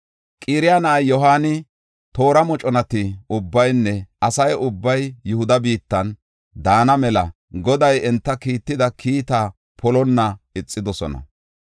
Qaraya na7ay Yohaani, toora moconati ubbaynne asa ubbay Yihuda biittan daana mela Goday enta kiitida kiitta polonna ixidosona.